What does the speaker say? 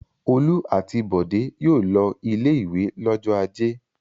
Olú àti Bọ̀dé yóò lọ ilé-ìwé lọ́jọ́ ajé.